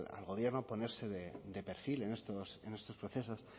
al gobierno a ponerse de perfil en estos procesos